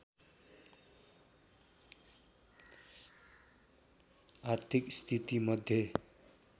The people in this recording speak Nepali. आर्थिक स्थितिमध्ये